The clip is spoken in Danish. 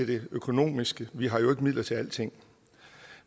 det økonomiske vi har jo midler til alting